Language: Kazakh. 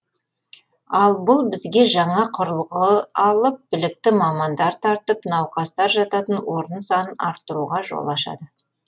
ал бұл бізге жаңа құрылғы алып білікті мамандар тартып науқастар жататын орын санын арттыруға жол ашады